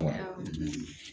Wa